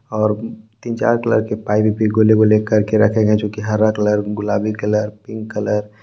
और तीन चार कलर के पाइप भी गोले गोले कर के रखे गए हैं जो कि हरा कलर गुलाबी कलर पिंक कलर ।